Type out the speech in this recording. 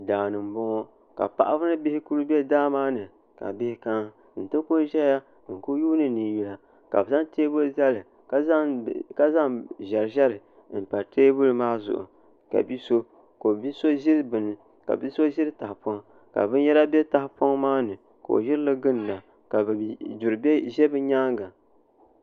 daani n boŋo ka paɣaba ni bihi ku bɛ daa maa ni ka bihi kana n ti ku ʒɛya n ku yuundi ninyula ka bi zaŋ teebuli zali ka zaŋ ʒɛri ʒɛri n pa teebuli maa zuɣu ka bia so ʒiri tahapoŋ ka binyɛra bɛ tahapoŋ maa ni ka o ʒirili ginda ka yuri bɛ bi nyaanga